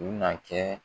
U bina kɛ